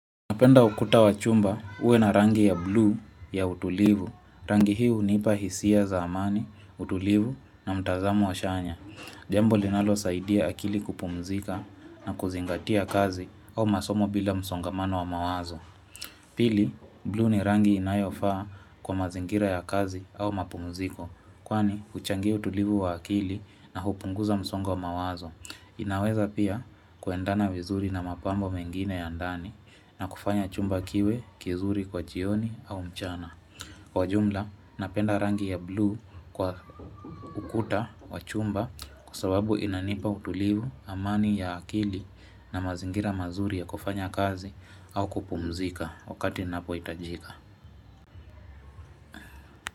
Napenda ukuta wa chumba uwe na rangi ya bluu ya utulivu. Rangi hii hunipa hisia za amani, utulivu na mtazamo wa chanya. Jambo linalosaidia akili kupumzika na kuzingatia kazi au masomo bila msongamano wa mawazo. Pili, bluu ni rangi inayofaa kwa mazingira ya kazi au mapumziko. Kwani, huchangia utulivu wa akili na hupunguza msongo wa mawazo. Inaweza pia kuendana vizuri na mapambo mengine ya ndani na kufanya chumba kiwe kizuri kwa jioni au mchana. Kwa ujumla napenda rangi ya bluu kwa ukuta wa chumba kwasababu inanipa utulivu, amani ya akili na mazingira mazuri ya kufanya kazi au kupumzika wakati ninapohitajika.